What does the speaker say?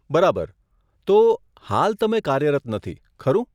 બરાબર. તો, હાલ, તમે કાર્યરત નથી, ખરું?